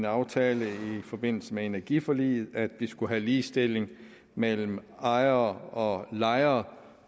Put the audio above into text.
aftalt i forbindelse med energiforliget at vi skulle have ligestilling mellem ejere og lejere